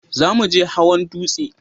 Za mu je hawan dutse